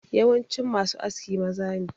Yawancin ma su aski maza ne